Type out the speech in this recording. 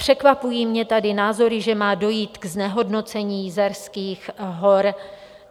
Překvapují mě tady názory, že má dojít ke znehodnocení Jizerských hor.